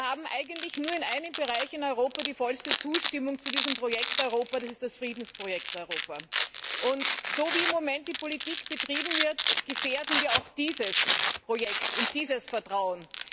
Wir haben eigentlich nur in einem Bereich in Europa die vollste Zustimmung zu diesem Projekt Europa, das ist das Friedensprojekt Europa. So, wie im Moment die Politik betrieben wird, gefährden wir auch dieses Projekt und dieses Vertrauen.